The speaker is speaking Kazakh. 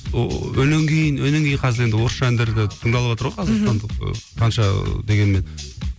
ооо өлең кейін кейін қазір енді орысша әндер де таңдалыватыр ғой мхм қазақстандық қанша дегенмен